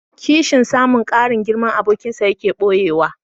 Kishin samun ƙarin girman abokinsa yaƙi ɓoyuwa.